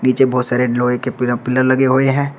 नीचे बहोत सारे लोहे के पील पिलर लगे हुए हैं।